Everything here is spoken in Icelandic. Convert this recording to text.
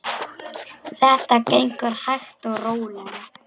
Þetta gengur hægt og rólega.